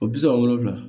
O bi saba wolonwula